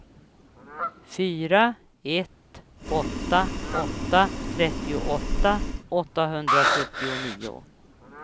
fyra ett åtta åtta trettioåtta åttahundrasjuttionio